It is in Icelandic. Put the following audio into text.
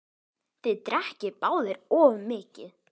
Þið drekkið báðir of mikið.